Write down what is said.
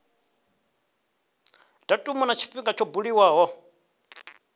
datumu na tshifhinga tsho buliwaho